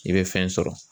I bɛ fɛn sɔrɔ